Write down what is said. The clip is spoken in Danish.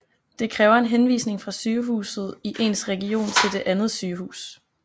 Det kræver en henvisning fra sygehuset i ens region til det andet sygehus